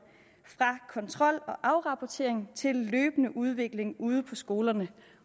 fra kontrol og afrapportering til løbende udvikling ude på skolerne